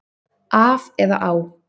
Af eða á?